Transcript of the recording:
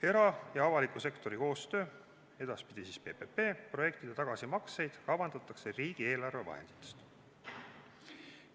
" Era- ja avaliku sektori koostöö projektide tagasimakseid kavandatakse riigieelarve vahenditest.